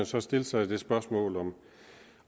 så stille sig det spørgsmål om